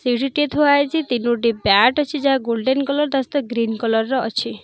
ସିଡିଟେ ଥୁଆ ହେଇଛି ତିନୋଟି ବ୍ୟାଟ ଅଛି ଯାହାକି ଗୋଲ୍ଡେନ କଲର ର ତା ସହିତ ଗ୍ରୀନ କଲର ର ଅଛି।